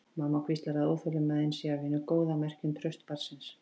Mamma hvíslar að óþolinmæðin sé af hinu góða, merki um traust barnsins.